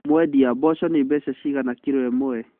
Mwendia, mboco nĩ mbeca ciigana kiro ĩmwe?